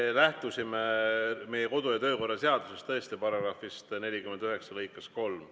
Me lähtusime tõesti meie kodu‑ ja töökorra seaduse § 49 lõikest 3.